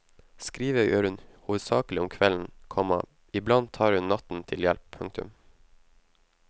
Skrive gjør hun hovedsakelig om kvelden, komma iblant tar hun natten til hjelp. punktum